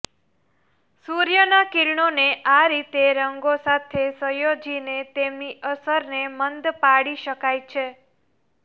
સૂર્યના કિરણોને આ રીતે રંગો સાથે સંયોજીને તેમની અસરને મંદ પાડી શકાય છે